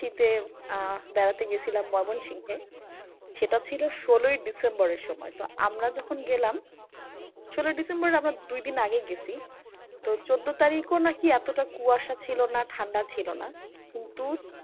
আহ বেড়াতে গেসিলাম ময়মনসিং এ সেটা ছিল ষোলোই ডিসেম্বরের সময়। তো আমরা যখন গেলাম ষোলোই ডিসেম্বর আমরা দুই দিন আগেই গেছি তো চোদ্দ তারিখও নাকি এতটা কুয়াশা ছিল না ঠান্ডা ছিল না। কিন্তু